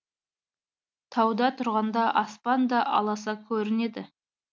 тауда тұрғанда аспан да аласа көрінеді